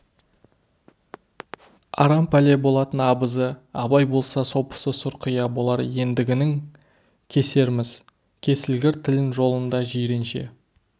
арам пәле болатын абызы абай болса сопысы сұрқия болар ендігінің кесерміз кесілгір тілін жолын деп жиренше